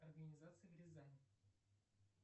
организации в рязани